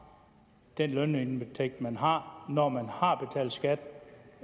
den lønindtægt man har når man har betalt skat